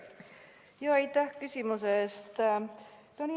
Aitäh küsimuse eest!